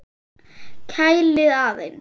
Kælið aðeins.